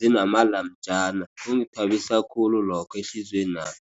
zinamalamtjana, kungithabisa khulu lokho, ehliziywenami.